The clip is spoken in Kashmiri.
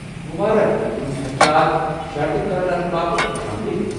مبارک، تہٕ تُہندۍ خدشات شر٘دِ كرنہٕ باپت خۄش آمدید ۔